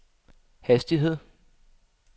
hastighed